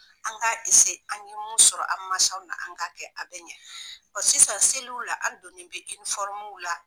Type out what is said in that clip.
An ka an ɲe mun sɔrɔ an masaw la an ka kɛ a bɛ ɲɛ, sisan seliw la an donnen bɛ la.